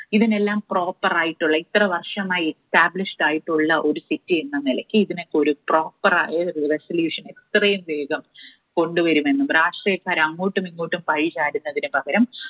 ഇതിനെല്ലാം proper ആയിട്ടുള്ള ഇത്ര വർഷമായി established ആയിട്ടുള്ള ഒരു city എന്ന നിലയ്ക്ക് ഇതിനൊക്കെ ഒരു proper ആയ solution എത്രയും വേഗം കൊണ്ടുവരുമെന്നും രാഷ്ട്രീയക്കാർ അങ്ങോട്ടുമിങ്ങോട്ടും പഴിചാരുന്നതിന് പകരം